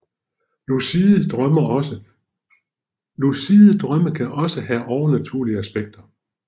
Lucide drømme kan også have overnaturlige aspekter